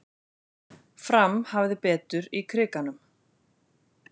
Fram hafði betur í Krikanum